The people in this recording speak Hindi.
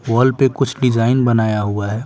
वॉल पे कुछ डिजाइन बनाया हुआ है।